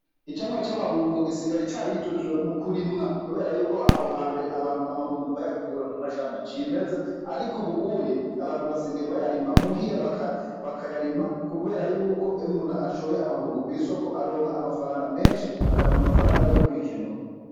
Icamwa c'amabungo gisigaye carijukiwe mu kurimwa, kubera yuko aho ha mbere abantu amabungo bayakura mu mashamba c'imeza, ariko ubu uye abantu basigaye bayarima muhira bakayarima, kubera yuko umuntu ashoye amabungo kw'isoko aronga amafaranga menshi akaronga amafaranga yo kwikenura.